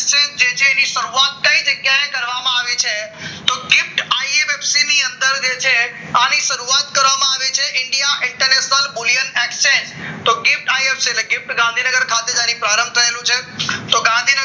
એની શરૂઆત થઈ કઈ જગ્યાએ કરવામાં આવી છે તો ગિફ્ટ આઈ વેપ્સીની અંદર જે છે આની શરૂઆત કરવામાં આવી છે indian international